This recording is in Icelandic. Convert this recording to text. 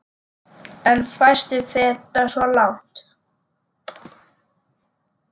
En fæstir feta svo langt.